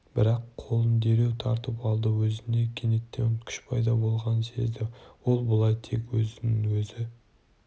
бірақ қолын дереу тартып алды өзіне кенеттен күш пайда болғанын сезді ол бұл тек өзін өзі